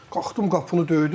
Qalxdım qapını döydüm.